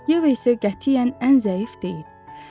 Yeva isə qətiyyən ən zəif deyil.